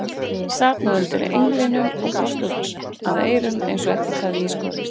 Sat nú undir englinum og brosti út að eyrum eins og ekkert hefði í skorist.